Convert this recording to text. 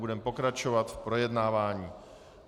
Budeme pokračovat v projednávání.